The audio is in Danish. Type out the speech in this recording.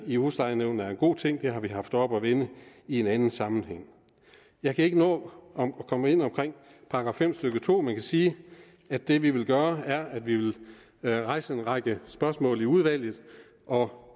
i huslejenævnene er en god ting det har vi haft oppe at vende i en anden sammenhæng jeg kan ikke nå at komme ind på § fem stykke to men jeg kan sige at det vi vil gøre er at vi vil rejse en række spørgsmål i udvalget og